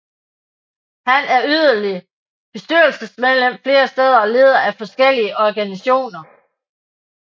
Han er yderligere bestyrelsesmedlem flere steder og leder af forskellige organisationer